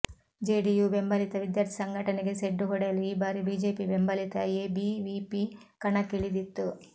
JDU ಬೆಂಬಲಿತ ವಿದ್ಯಾರ್ಥಿ ಸಂಘಟನೆಗೆ ಸೆಡ್ಡು ಹೊಡೆಯಲು ಈ ಬಾರಿ ಬಿಜೆಪಿ ಬೆಂಬಲಿತ ಎಬಿವಿಪಿ ಕಣಕ್ಕಿಳಿದಿತ್ತು